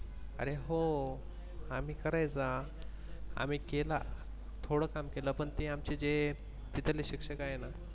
अरे हो आम्ही करायचा. आम्ही केला थोड काम केल पण आमच जे तिथले शिक्षक आहे ना.